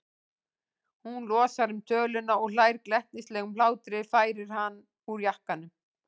Hún losar um töluna og hlær glettnislegum hlátri, færir hann úr jakkanum.